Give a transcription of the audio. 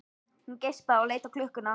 Hún geispaði og leit á klukkuna.